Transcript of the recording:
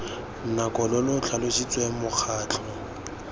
nako lo lo tlhalositsweng mokgatlho